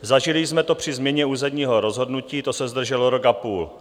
Zažili jsme to při změně územního rozhodnutí, to se zdrželo rok a půl.